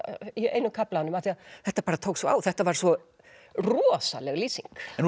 einum kaflanum af því þetta tók svo á þetta var svo rosaleg lýsing nú